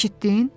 Eşitdin?